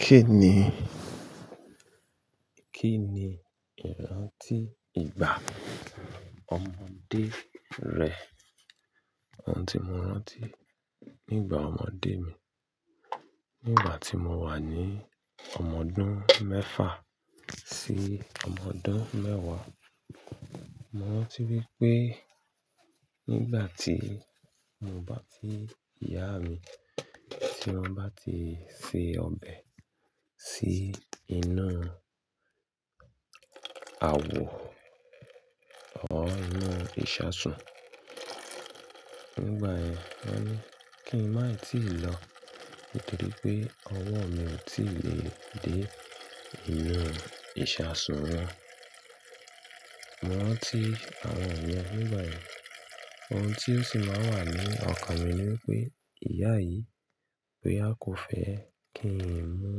Kí ni, kí ni ìrántí ìgbà ọmọdé rẹ? Ohun tí mo rántí nígbà ọmọdé mi, nígbà tí mo wà ní ọmọdún mẹ́fà sí ọmọdún mẹ́wàá. Mo rántí wípé nígbà tí mo bá ti ìyá mi, tí wọ́n bá ti se ọbẹ̀ sí inú àwọ̀ ọ́ inú ìṣasùn, nígbà yẹn wọ́n ní kí n má tíì lọ nítorí pé ọwọ́ mi ò tí lè dé inú ìṣasùn wọn. Mo rántí àwọn mìíràn nígbà yẹn. Ohun tí ó sì máa wà ní ọkàn mi ni wípé ìyá yìí, pé á kò fẹ́ kí n mu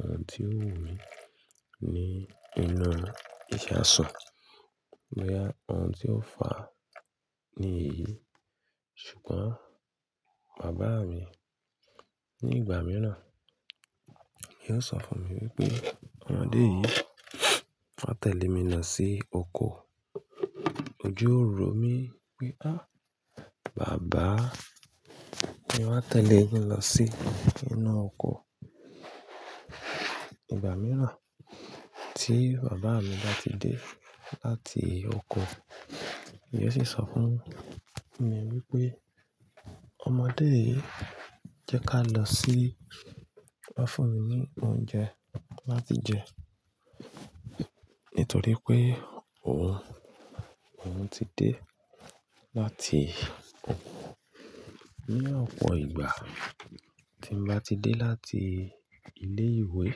ohun tí ó wù mí ní inú ìṣasùn. Boya ohun tí ó fà á ni èyí. Ṣùgbọ́n bàbá mi ní ìgbà mìíràn, yóò sọ fún mi wípé, "ọmọdé yìí, wàá tẹ̀lé mi lọ sí oko." Òju o ro mí wípé, "à, bàbá, mí wàá tẹ̀lé e lọ sí inú oko?" Ìgbà mìíràn tí bàbá mi bá ti dé láti oko, yóò sì sọ fún mi wípé, "ọmọdé yìí, jẹ́ ká lọ sí wá fún mi ní oúnjẹ láti jẹ nítorí pé òun, òun ti dé láti oko." Ní ọ̀pọ̀ ìgbà tí mo bá ti dé láti ilé ìwé,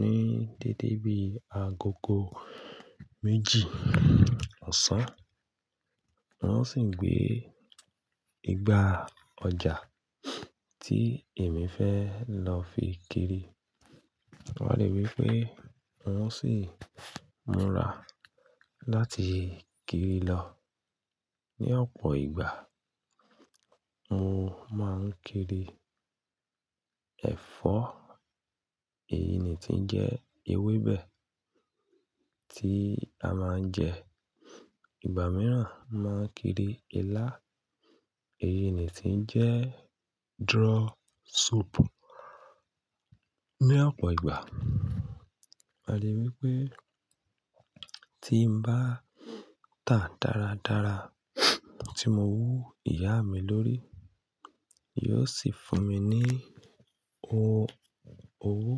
ní dédé bí agogo méjì ọ̀sán, wọ́n ó sì gbé igbá ọjà tí èmi fẹ́ lọ fi kiri. A lè wípé òun sì múra láti kiri lọ. Ní ọ̀pọ̀ ìgbà, mo máa ń kiri ẹ̀fọ́, èyí ni ti ń jẹ ewébẹ̀ tí a máa ń jẹ. Ìgbà mìíràn, mo máa ń kiri ilá, èyí ni ti ń jẹ́ draw soup. Ní ọ̀pọ̀ ìgbà, a lè wípé tí ń bá tà dára dára, tí mo wú ìyá mi lórí, yóò sì fún mi ní owó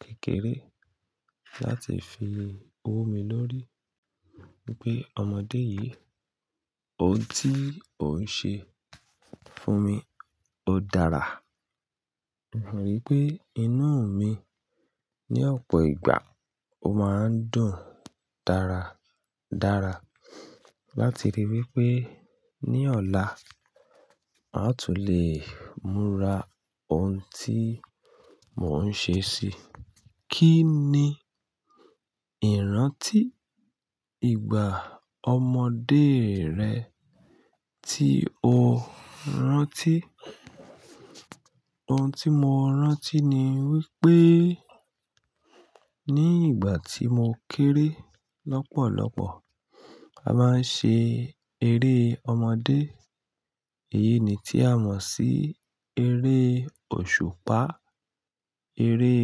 kékeré láti fi wú mi lórí wípé ọmọdé yìí, ohun tí ò ń ṣe fún mi ó dára. A lè rí pé inú mi ní ọ̀pọ̀ ìgbà ó máa ń dùn dára dára láti rí wípé ní ọ̀la, a ó tún lè múra ohun tí mò ń ṣe sí i. Kí ni ìrántí ìgbà ọmọdé rẹ tí o rántí? Ohun tí mo rántí ni wípé ní ìgbà tí mo kéré lọ́pọ̀lọ́pọ̀, a máa ń ṣe eré ọmọdé. Èyí ni tí a mọ̀ sí eré òṣùpá, eré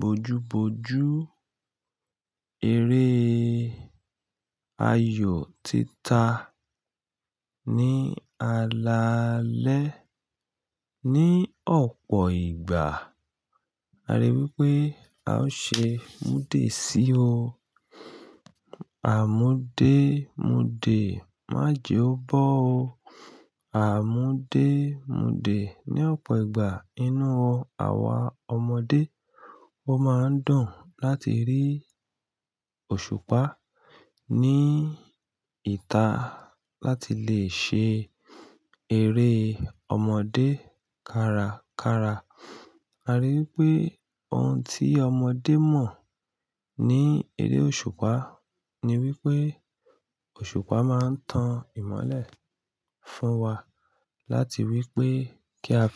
bojúbojú, eré ayò tita ní alaalẹ́. Ní ọ̀pọ̀ ìgbà, a lè wípé a ṣe múdé sí o. Àmúdé múdé, májè ó bọ ó. Àmúdé múdé. Ní ọ̀pọ̀ ìgbà inú wa àwa ọmọdé, ó máa ń dùn láti rí òṣùpá ní ìta láti lè ṣe eré ọmọdé kárakára. A ri wípé ohun tí ọmọdé mọ̀ ní eré òṣùpá ni wípé òṣùpá máa ń tan ìmọ́lẹ̀ fún wa láti wípé kí a fi-